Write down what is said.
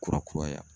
Kura kuraya